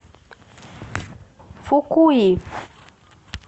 фукуи